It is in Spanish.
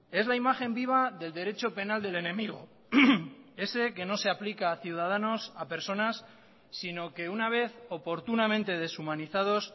es la imagen viva del derecho penal del enemigo ese que no se aplica a ciudadanos a personas sino que una vez oportunamente deshumanizados